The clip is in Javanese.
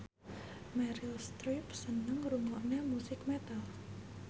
Meryl Streep seneng ngrungokne musik metal